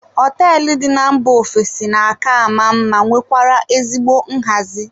Hoteelu dị n'mba ofesi na-aka maa mma nwekwara ezigbo nhazi.